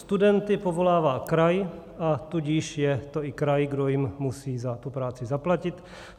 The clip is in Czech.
Studenty povolává kraj, a tudíž je to i kraj, kdo jim musí za tu práci zaplatit.